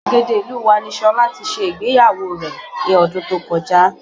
Gbàgede ìlú wa ni Ṣọlá tí ṣe ìgbéyàwó rẹ̀ ní ọdún tó kọjá